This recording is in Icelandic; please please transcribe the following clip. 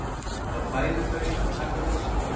Þá færu þau að taka við sér.